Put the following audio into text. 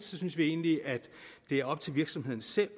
synes vi egentlig at det er op til virksomhederne selv